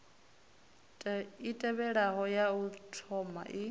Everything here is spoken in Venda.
i tevhelaho ya u thomai